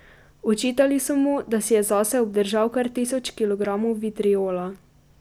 Očitali so mu, da si je zase obdržal kar tisoč kilogramov vitrijola.